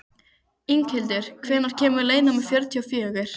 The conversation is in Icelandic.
Inghildur, hvenær kemur leið númer fjörutíu og fjögur?